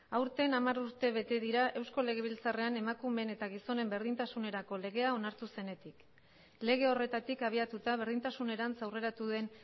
aurten hamar urte bete dira eusko legebiltzarrean emakumeen eta gizonen berdintasunerako legea onartu zenetik lege horretatik abiatuta berdintasunerantz aurreratu den